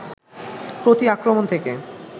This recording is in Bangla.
প্রতি-আক্রমণ থেকে